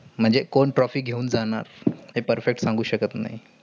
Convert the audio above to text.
म्हणजे कोण trophy घेऊन जाणार. हे perfect सांगु शकत नाही.